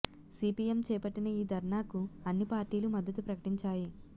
CPM చేపట్టిన ఈ ధర్నాకు అన్ని పార్టీలు మద్దతు ప్రకటించాయి